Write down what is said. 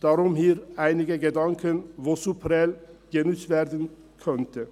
Darum bringe ich hier einige Gedanken, die für Prêles genutzt werden könnten.